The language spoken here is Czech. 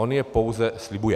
On je pouze slibuje.